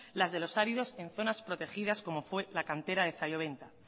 las de los áridos en zonas protegidas como fue la cantera de zalloventa